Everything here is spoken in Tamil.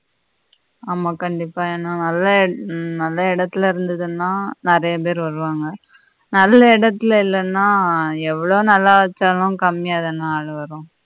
ஆமா கண்டிப்பா ஏன்னா நல்ல எடத்துல இருந்துதுன்னா நெறைய பேர் வருவாங்க நல்ல எடத்துல இல்லேன்னா எவ்வளவு நல்லா வெச்சாலும் கம்மியா தான் வரும்